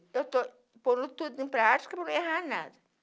Pois é, eu testou colocando tudo em prática para mim não errar nada.